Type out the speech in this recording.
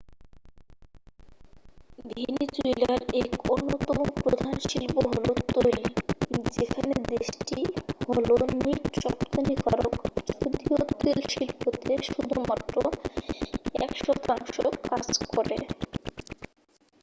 ভেনিজুয়েলার এক অন্যতম প্রধান শিল্প হল তৈল যেখানে দেশটি হল নিট রপ্তানিকারক যদিও তৈলশিল্পতে শুধুমাত্র এক শতাংশ কাজ করে